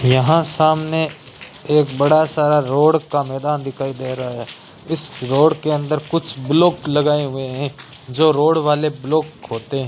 यहां सामने एक बड़ा सारा रोड का मैदान दिखाई दे रहा है इस रोड के अंदर कुछ ब्लोक लगाए हुए हैं जो रोड वाले ब्लोक होते --